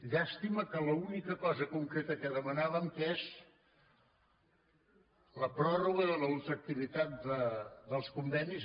llàstima que l’única cosa concreta que demanàvem que és la pròrroga de la ultraactivitat dels convenis